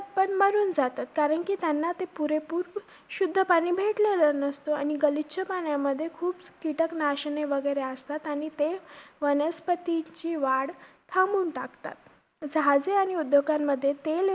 मरून जातात. कारण ते त्यांना पुरेपूर शुद्ध पाणी भेटलेलं नसतं. आणि गलिच्छ पाण्यामध्ये कीटक नाशने वगैरे असतात आणि ते वनस्पतीची वाढ थांबवून टाकतात.